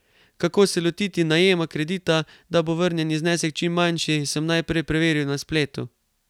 Kako se lotiti najema kredita, da bo vrnjeni znesek čim manjši, sem najprej preveril na spletu.